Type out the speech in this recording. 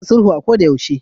Ana son sulhu a kodayaushe.